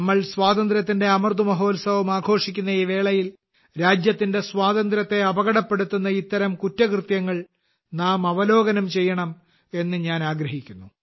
നാം സ്വാതന്ത്ര്യത്തിന്റെ അമൃത് മഹോത്സവം ആഘോഷിക്കുന്ന ഈ വേളയിൽ രാജ്യത്തിന്റെ സ്വാതന്ത്ര്യത്തെ അപകടപ്പെടുത്തുന്ന ഇത്തരം കുറ്റകൃത്യങ്ങൾ നാം അവലോകനം ചെയ്യണം എന്ന് ഞാൻ ആഗ്രഹിക്കുന്നു